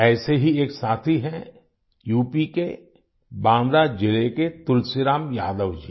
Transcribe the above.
ऐसे ही एक साथी हैं यूपी के बांदा जिले के तुलसीराम यादव जी